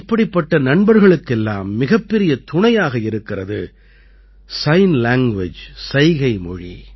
இப்படிப்பட்ட நண்பர்களுக்கெல்லாம் மிகப்பெரிய துணையாக இருக்கிறது சிக்ன் லாங்குவேஜ் சைகை மொழி